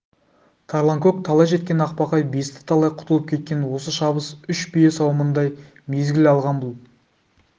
тарланкөк талай жеткен ақбақай бесті талай құтылып кеткен осы шабыс үш бие сауымындай мезгіл алған бұл